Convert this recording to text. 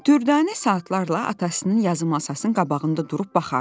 Dürdanə saatlarla atasının yazı masasının qabağında durub baxardı.